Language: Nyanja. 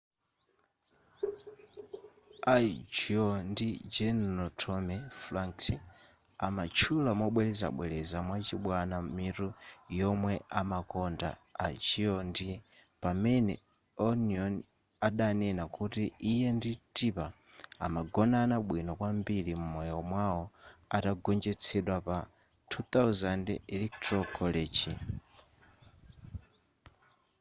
al gore ndi general tommy franks amatchula mobwerezabwereza mwachibwana mitu yomwe amakonda a gore ndi pamene onion adanena kuti iye ndi tipper amagonana bwino kwambiri m'moyo mwawo atagonjetsedwa pa 2000 electoral college